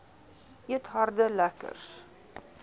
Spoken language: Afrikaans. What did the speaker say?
eet harde lekkers